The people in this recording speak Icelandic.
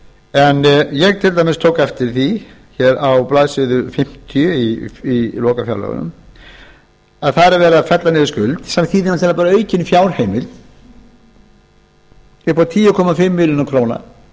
en ég til dæmis tók eftir því á blaðsíðu fimmtíu í lokafjárlögunum að þar er verið að fella niður skuld sem þýðir bara aukin fjárheimild upp á tíu komma fimm milljónir króna